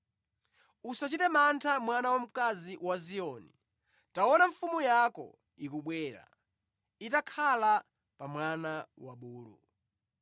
“Usachite mantha mwana wamkazi wa Ziyoni; taona mfumu yako ikubwera, itakhala pa mwana wabulu.”